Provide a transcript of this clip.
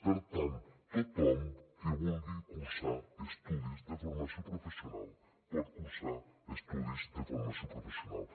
per tant tothom que vulgui cursar estudis de formació professional pot cursar estudis de formació professional